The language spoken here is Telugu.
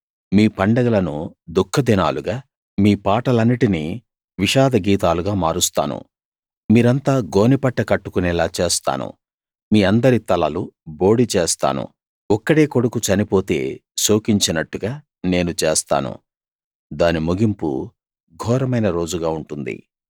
మీ పండగలను దుఃఖదినాలుగా మీ పాటలన్నిటినీ విషాద గీతాలుగా మారుస్తాను మీరంతా గోనెపట్ట కట్టుకొనేలా చేస్తాను మీ అందరి తలలు బోడిచేస్తాను ఒక్కడే కొడుకు చనిపోతే శోకించినట్టుగా నేను చేస్తాను దాని ముగింపు ఘోరమైన రోజుగా ఉంటుంది